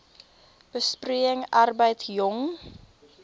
besproeiing arbeid jong